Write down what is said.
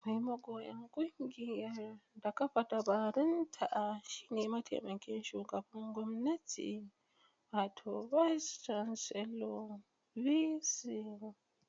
Mai magoran kungiyar da kafa dabarunta shine mataimakin shugaban gwamnati wato Bais Canselo (BC).